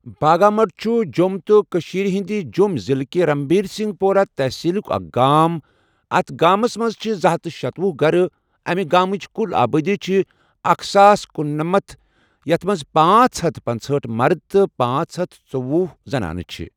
باگامڑھ چھُ جۆم تہٕ کٔشیٖر ہٕنٛدِ جۆم ضِلہٕ کہِ رنبیر سِنگھ پورہ تَحصیٖلُک اَکھ گام اَتھ گامَس مَنٛز چھِ زٕہتھ شتۄہُ گَرٕ اَمہِ گامٕچ کُل آبٲدی چھِ اکھ ساس کنُنمنتھ یَتھ مَنٛز پانژھ ہتھ پنژہأٹھ مَرٕد تہٕ پانژھ ہتھ ژٔۄہُ زَنانہٕ چھِ.